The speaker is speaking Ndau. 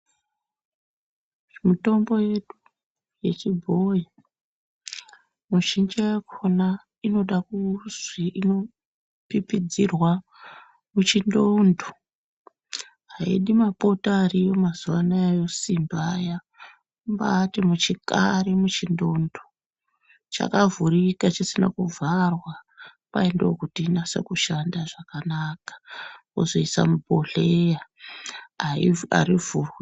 Mitombo yedu yechibhoyi mizhinji yakona inoda zvinopipidzirwa muchindondo haisi mapoto ariyo mazuwa anaya esimbi aya kumbati muchikari muchindondo chakavhurika chisina kuvharwa kwai ndokuti inyatso Shanda zvakanaka wozoosa mubhohleya haivhurwi.